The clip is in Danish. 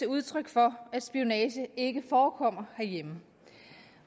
udtryk for at spionage ikke forekommer herhjemme